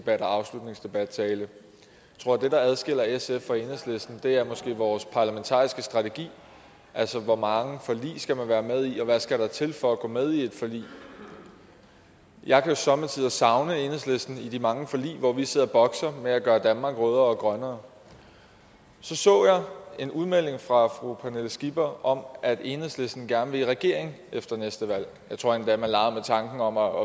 og afslutningsdebatter jeg tror at det der adskiller sf fra enhedslisten er vores parlamentariske strategi altså hvor mange forlig man skal være med i og hvad der skal til for at gå med i et forlig jeg kan somme tider savne enhedslisten i de mange forlig hvor vi sidder og bokser med at gøre danmark rødere og grønnere så så jeg en udmelding fra fru pernille skipper om at enhedslisten gerne vil i regering efter næste valg jeg tror endda at man legede med tanken om at